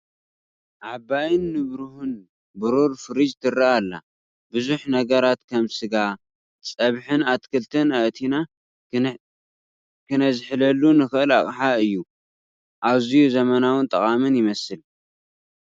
ዓባይን ንብሩህን ብሩር ፍሪጅ ትረአ ኣላ። ብዙሕ ነገራት ከም ስጋ፣ ፀብሒን ኣትክልትን ኣእቲና ክነዝሕለሉ ንኽእል ኣቕሓ እዩ፡፡ ኣዝዩ ዘመናውን ጠቓምን ይመስል!